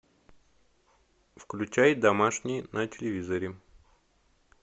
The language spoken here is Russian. включай домашний на телевизоре